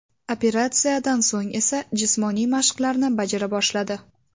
Operatsiyadan so‘ng esa jismoniy mashqlarni bajara boshladi.